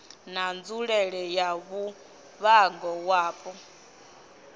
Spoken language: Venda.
na nzulele ya muvhango wapo